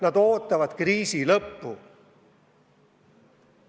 Nad ootavad kriisi lõppu.